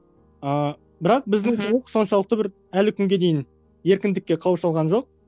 ыыы бірақ біздің билік соншалықты бір әлі күнге дейін еркіндікке қауыша алған жоқ